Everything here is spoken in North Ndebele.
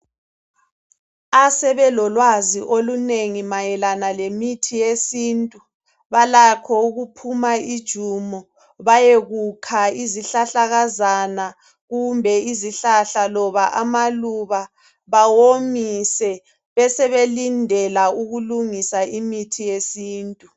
Asebelolwazi olunengi mayelana lemithi yesintu balakho ukuphuma ijumo bayekukha izihlahlakazana kumbe izihlahla loba amaluba bawomise besebelindela ukulungisa imithi yesintu.